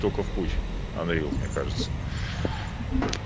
только в путь анрилв мне кажется